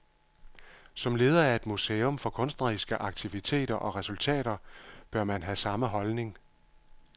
Som leder af et museum for kunstneriske aktiviteter og resultater bør man have samme holdning.